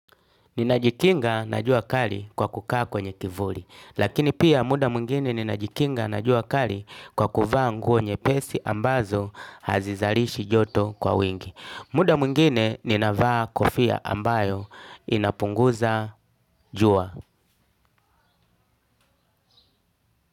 Ninajikinga na jua kali kwa kukaa kwenye kivuli. Lakini pia muda mwingine ninajikinga na jua kali kwa kuvaa nguo nyepesi ambazo hazizalishi joto kwa wingi. Muda mwingine ninavaa kofia ambayo inapunguza jua.